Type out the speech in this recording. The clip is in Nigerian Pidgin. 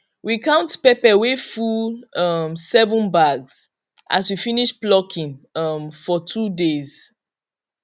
we count pepper wey full um seven bags as we finish plucking um for two days